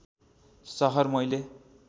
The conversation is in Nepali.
सहर मैले